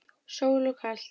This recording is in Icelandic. Sól og kalt.